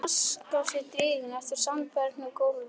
taska sé dregin eftir sandbornu gólfi.